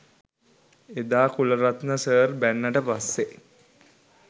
එදා කුලරත්න සර් බැන්නට පස්සෙ